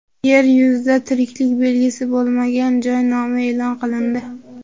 Yer yuzida tiriklik belgisi bo‘lmagan joy nomi e’lon qilindi.